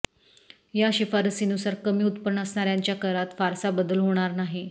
या शिफारसीनुसार कमी उत्पन्न असणाऱ्यांच्या करात फारसा बदल होणार नाही